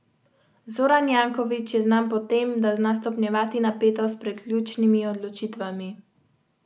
Imeti pet odstotkov dobičkonosnega podjetja je veliko bolje, kot biti sto odstotni lastnik propadlega.